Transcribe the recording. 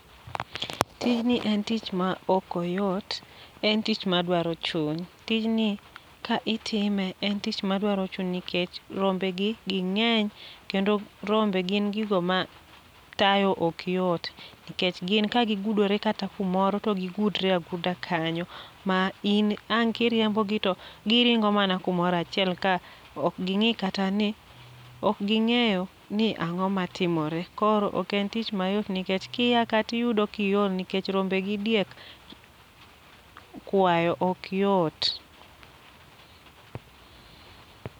Tijni en tich ma okoyot, en tich ma dwaro chuny. Tijni ka itime, en tich ma dwaro chuny nikech rombe gi ging'eny. Kendo rombe gin gigo ma tayo okyot, nikech gin ka gigudore kata kumoro to gigudre aguda kanyo. Ma in ang' kiriembo gi to giringo mana kumorachiel ka ok ging'i kata ni ok ging'eyo ni ang'o ma timore. Koro ok en tich mayot nikech kia ka tiyudo kiol nikech rombe gi diek kwayo ok yot.